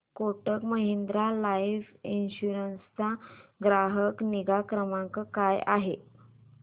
Kotak Mahindra life insurance चा ग्राहक निगा क्रमांक काय आहे